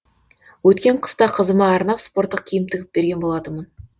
өткен қыста қызыма арнап спорттық киім тігіп берген болатынмын